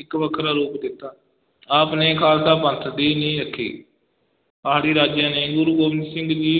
ਇੱਕ ਵੱਖਰਾ ਰੂਪ ਦੇ ਦਿੱਤਾ, ਆਪ ਨੇ ਖਾਲਸਾ ਪੰਥ ਦੀ ਨੀਂਹ ਰੱਖੀ, ਪਹਾੜੀ ਰਾਜਿਆਂ ਨੇ ਗੁਰੂ ਗੋਬਿੰਦ ਸਿੰਘ ਜੀ